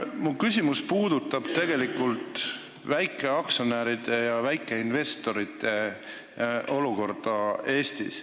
Minu küsimus puudutab väikeaktsionäride ja väikeinvestorite olukorda Eestis.